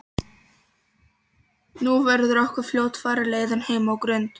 Nú verður okkur fljótfarin leiðin heim á Grund.